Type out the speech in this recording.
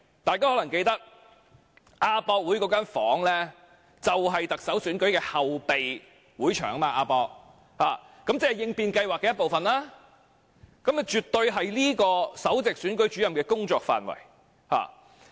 大家可能記得，亞博館那間房間就是特首選舉的後備會場，亦即應變計劃的一部分，絕對是這名首席選舉事務主任的工作範圍。